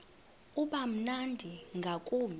uba mnandi ngakumbi